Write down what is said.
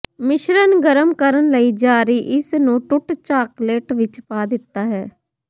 ਮਿਸ਼ਰਣ ਗਰਮ ਕਰਨ ਲਈ ਜਾਰੀ ਇਸ ਨੂੰ ਟੁੱਟ ਚਾਕਲੇਟ ਵਿੱਚ ਪਾ ਦਿੱਤਾ ਹੈ